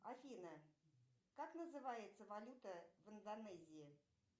афина как называется валюта в индонезии